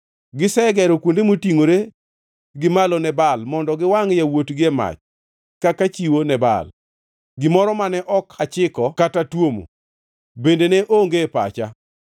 Gisegero kuonde motingʼore gi malo ne Baal mondo giwangʼ yawuotgi e mach kaka chiwo ne Baal, gimoro mane ok achiko kata tuomo, bende ne onge e pacha.